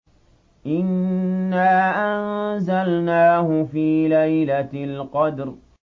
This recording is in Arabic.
إِنَّا أَنزَلْنَاهُ فِي لَيْلَةِ الْقَدْرِ